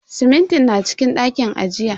Simintin na cikin ɗakin ajiya.